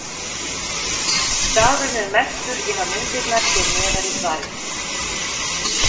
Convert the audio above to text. Staðurinn er merktur inn á myndirnar hér neðar í svarinu.